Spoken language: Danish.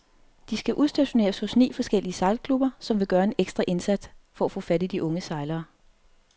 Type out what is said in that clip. De skal udstationeres hos ni forskellige sejlklubber, som vil gøre en ekstra indsats for at få fat i unge sejlere.